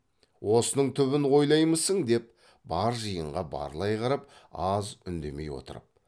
осының түбін ойламаймысың деп бар жиынға барлай қарап аз үндемей отырып